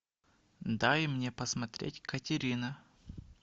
дай мне посмотреть катерина